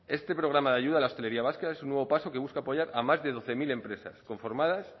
este programa de ayuda a la hostelería vasca es un nuevo paso que busca apoyar a más de doce mil empresas conformadas